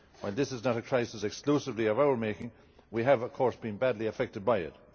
While this is not a crisis exclusively of our making, we have of course been badly affected by it.